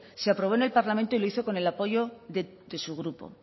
se aprobó en el parlamento y lo hizo con el apoyo de su grupo